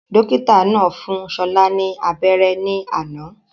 Dókítà náà fún Ṣọlá ni abéré ní àná